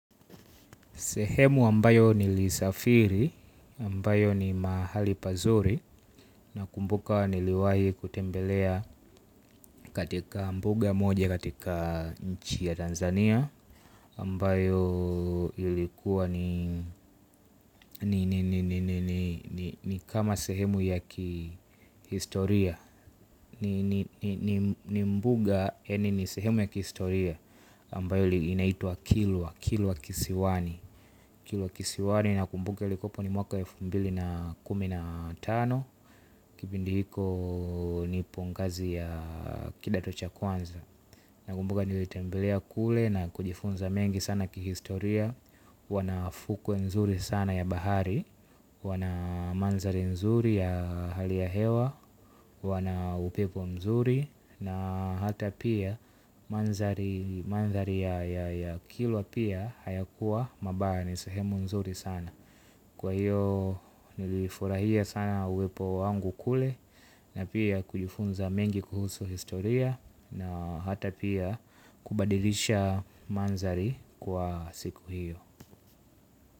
Sehemu ambayo nilisafiri, ambayo ni mahali pazuri. Nakumbuka niliwahi kutembelea katika mbuga moja katika nchi ya Tanzania Ambayo ilikuwa ni kama sehemu ya kihistoria. Ni mbuga yaani ni sehemu ya kihistoria ambayo inaitwa kilwa, kilwa kisiwani Kilwa kisiwani nakumbuka ilikwepo ni mwaka elfu mbili na kumi na tano. Kipindi hiko nipo ngazi ya kidato cha kwanza. Nakumbuka nilitembelea kule na kujifunza mengi sana kihistoria. Wana fukwe nzuri sana ya bahari. Wana mandhari nzuri ya hali ya hewa. Wana upepo nzuri. Na hata pia mandhari ya kilwa pia hayakuwa mabaya ni sehemu nzuri sana. Kwa hiyo nilifurahia sana uwepo wangu kule. Na pia kujifunza mengi kuhusu historia na hata pia kubadilisha mandhari kwa siku hiyo.